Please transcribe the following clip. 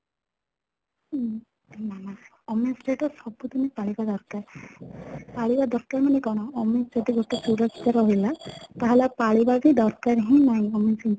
ଉମ ଆମେ ସେଇଟା ସବୁ ଦିନ ପାଳିବା ଦରକାର , ପାଳିବା ଦରକାର ମାନେ କ'ଣ ଆମେ ଯଦି ଗୋଟେ ସୁରକ୍ଷା ରହିଲା ତାହେଲେ ଆଉ ପାଳିବା ବି ଦରକାର ହିଁ ନାହିଁ